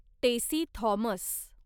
Tessy Thomas